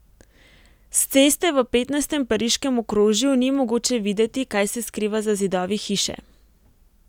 S ceste v petnajstem pariškem okrožju ni mogoče videti, kaj se skriva za zidovi hiše.